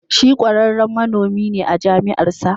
Shi kwararren manomi ne a jami'ar sa.